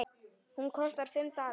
Hún kostaði fimm dali.